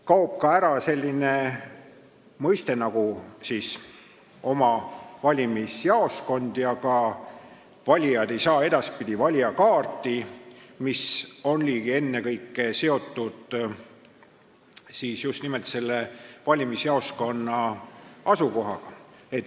Kaob ära selline mõiste nagu "oma valimisjaoskond" ja valijad ei saa edaspidi valijakaarti, mis oligi ennekõike seotud just nimelt selle valimisjaoskonna asukohaga.